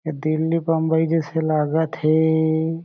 दिल्ली बम्बई जइसे लागत हें।